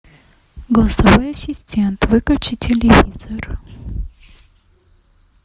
голосовой ассистент выключи телевизор